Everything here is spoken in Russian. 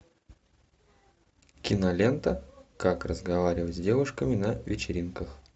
кинолента как разговаривать с девушками на вечеринках